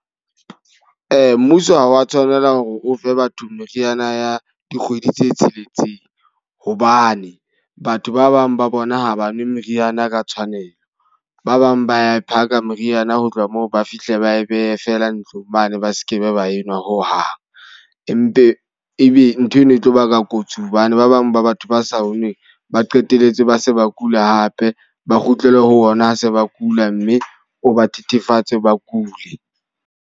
Mmuso ha wa tshwanela hore o fe batho meriana ya dikgwedi tse tsheletseng. Hobane batho ba bang ba bona ha ba nwe meriana ka tshwanelo. Ba bang ba a e phaka meriana, ho tloha moo ba fihle ba e behe feela ntlong mane ba sekebe ba enwa ho hang. E mpe e be ntho eno e tlo baka kotsi hobane ba bang ba batho ba sa onwe ba qetelletse ba se ba kula hape. Ba kgutlele ho ona ha se ba kula. Mme o ba thethefatse ba kule.